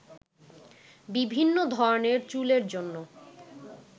বিভিন্ন ধরনের চুলের জন্য